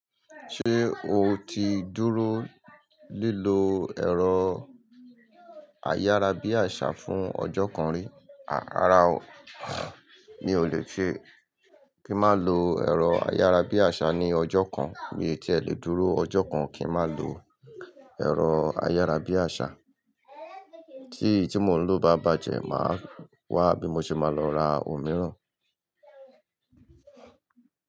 Ṣé o ti dúró lílọ ẹ̀rọ ayárabíàṣá fún ọjọ́ kan rí? À rárá, mi ò lè ṣe kí má lo ẹ̀rọ ayárabíàṣá ní ọjọ́ kan, mi ò tíì lè dúró ọjọ́ kan kí má lo ẹ̀rọ ayárabíàṣá. Tí tí mò ń lò bá bàjẹ́, màá wá bí mo ṣe máa lọ ra òmíràn.